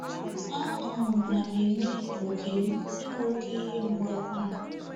A um na m enwe oké m enwe oké ihe mgbu akwara.